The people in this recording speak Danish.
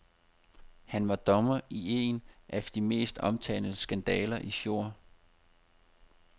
Han var dommer i en af de mest omtalte skandaler i fjor.